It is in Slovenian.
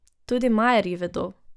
Tudi Majerji vedo.